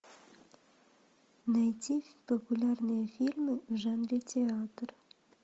найти популярные фильмы в жанре театр